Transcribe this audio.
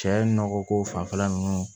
Cɛ nɔgɔ ko fanfɛla ninnu